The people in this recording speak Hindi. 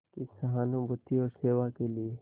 की सहानुभूति और सेवा के लिए